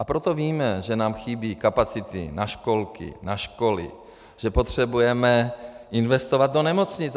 A proto víme, že nám chybí kapacity na školky, na školy, že potřebujeme investovat do nemocnic.